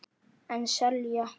En selja.